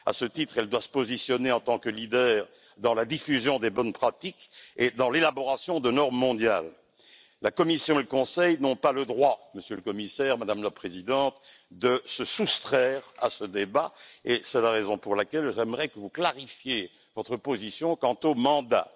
À ce titre, elle doit se positionner en tant que leader dans la diffusion des bonnes pratiques et dans l'élaboration de normes mondiales. La Commission et le Conseil n'ont pas le droit, Monsieur le Commissaire, Madame la Présidente, de se soustraire à ce débat, et c'est la raison pour laquelle j'aimerais que vous clarifiez votre position quant au mandat.